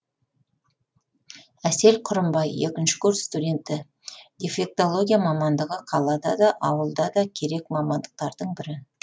әсел құрымбай екінші курс студенті дефектология мамандығы қалада да ауылда да керек мамандықтардың бірі